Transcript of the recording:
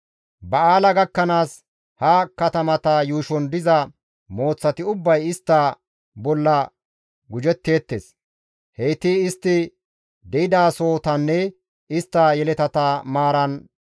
Ba7aala gakkanaas ha katamata yuushon diza mooththati ubbay istta bolla gujetteettes; heyti istti de7idasohotanne istta yeletata maaran mazgaban xaafi oykkida.